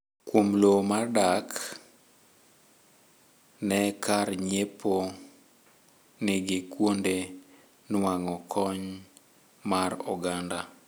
kuom lowo mar dak ne n kar nyiepo nigi kuonde nuang'o kony mar oganda